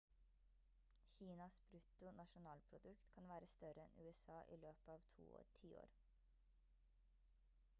kinas brutto nasjonalprodukt kan være større enn usa i løpet av to tiår